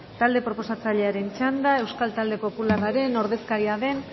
talde proposatzailearen txanda euskal talde popularraren ordezkaria den